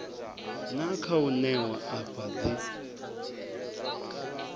na khou ṋewa afha dzi